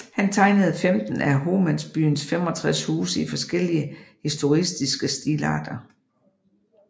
Han tegnede 15 af Homansbyens 65 huse i forskellige historicistiske stilarter